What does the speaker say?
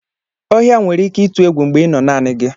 Ohia nwere ike ịtụ egwu mgbe ịnọ naanị gi.